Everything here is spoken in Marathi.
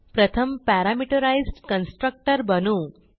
प्रथम पॅरामीटराईज्ड कन्स्ट्रक्टर बनवू